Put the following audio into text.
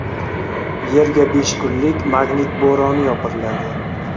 Yerga besh kunlik magnit bo‘roni yopiriladi.